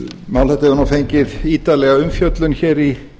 mál þetta hefur fengið ítarlega umfjöllun í